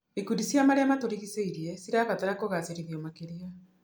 Ikundi cia marĩa matũrigicĩirie cirabatara kũgacĩrithio makĩria.